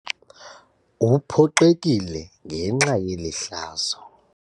Uphoxekile ngenxa yeli hlazo.